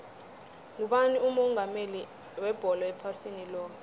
ngubani umongameli webholo ephasini loke